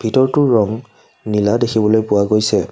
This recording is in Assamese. ভিতৰটোৰ ৰং নীলা দেখিবলৈ পোৱা গৈছে।